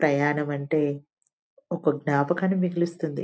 ప్రయాణం అంటే ఒక జ్ఞాపకాన్ని మిగిలిస్తుంది.